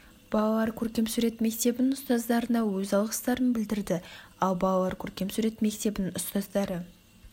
балалар көркем сурет мектебінің ұстаздарына өз алғыстарын білдірді ал балалар көркем сурет мектебінің ұстаздары